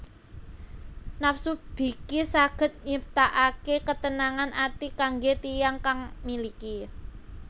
Nafsu biki saged nyiptaake ketenangan ati kangge tiyang kang miliki